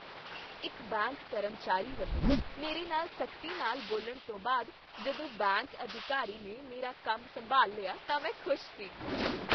ਇਕ ਬੈਂਕ ਕਰਮਚਾਰੀ ਵੱਲੋਂ ਮੇਰੇ ਨਾਲ ਸਖ਼ਤੀ ਨਾਲ ਬੋਲਣ ਤੋਂ ਬਾਅਦ ਜਦੋਂ ਬੈਂਕ ਅਧਿਕਾਰੀ ਨੇ ਮੇਰਾ ਕੰਮ ਸੰਭਾਲ ਲਿਆ ਤਾਂ ਮੈਂ ਖ਼ੁਸ਼ ਸੀ ।